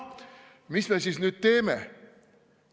Mis me siis nüüd teeme?